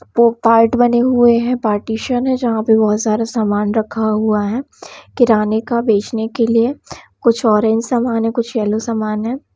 पो-पार्ट बने हुऐ है पार्टीशन है जहां पे बहुत सारे सामान रखा हुआ है किराने का बेचने के लिए कुछ ऑरेंज सामान है कुछ येलो सामान है।